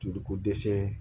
Joli ko dɛsɛ